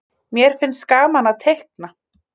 mér finnst gaman að teikna